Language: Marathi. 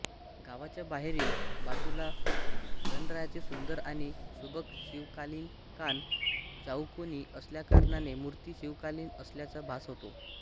गावाच्या बाहेरील बाजूला गणरायाची सुंदर आणि सुबक शिवकालीनकान चाऊकोणी असल्याकारणाने मूर्ती शिवकालीन असल्याचा भास होतो